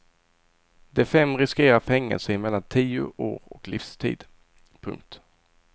De fem riskerar fängelse i mellan tio år och livstid. punkt